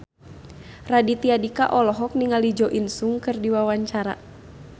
Raditya Dika olohok ningali Jo In Sung keur diwawancara